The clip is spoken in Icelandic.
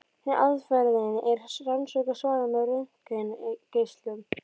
Hin aðferðin er að rannsaka svarfið með röntgengeislum.